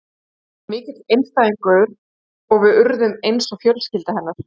Hún var svo mikill einstæðingur og við urðum eins og fjölskylda hennar.